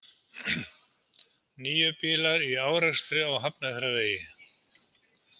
Níu bílar í árekstri á Hafnarfjarðarvegi